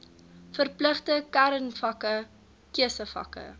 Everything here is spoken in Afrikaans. verpligte kernvakke keusevakke